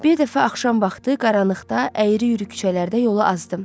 Bir dəfə axşam vaxtı qaranlıqda əyri-üyrü küçələrdə yolu azdım.